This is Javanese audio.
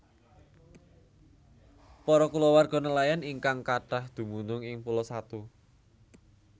Para kulawarga nelayan ingkang kathah dumunung ing Pulo Satu